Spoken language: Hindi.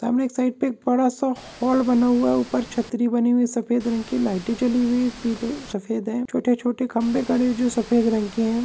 सामने एक साइड पे एक बड़ा सा हॉल बना हुआ है ऊपर छत्री बनी हुई है सफेद रंग की लाइटे जाली हुई है पीले सफेद है छोटे-छोटे खंभे खड़े हुए है जो सफेद है।